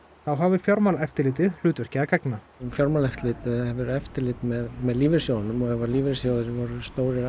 þá hafi Fjármálaeftirlitið hlutverki að gegna fjármálaeftirlitið hefur eftirlit með með lífeyrissjóðunum og ef lífeyrissjóðirnir voru stórir